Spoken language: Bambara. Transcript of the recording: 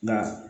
Nka